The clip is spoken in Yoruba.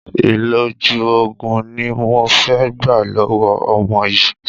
ìlòjù òògùn ni mo fẹ́ gbà lọ̀wọ̀ ọmọ yìí.